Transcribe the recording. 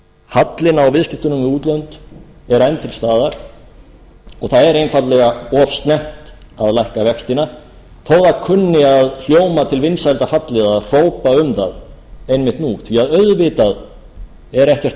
hallinn á viðskiptunum við útlönd eru enn til staðar og það er einfaldlega of snemmt að lækka vextina þó það kunni að hljóma til vinsælda halli eða hrópa um það einmitt nú því auðvitað er ekkert